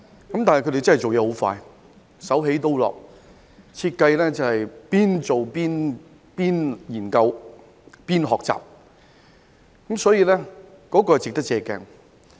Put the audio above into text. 他們做事真的很快，手起刀落，一邊設計，一邊研究，一邊學習，值得我們借鏡。